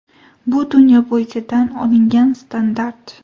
Bu dunyo bo‘yicha tan olingan standart.